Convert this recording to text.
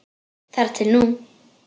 Þar til nú.